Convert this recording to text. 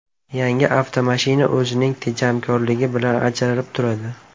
Yangi avtomashina o‘zining tejamkorligi bilan ajralib turadi.